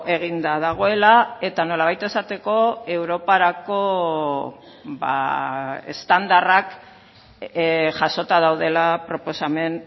eginda dagoela eta nolabait esateko europarako estandarrak jasota daudela proposamen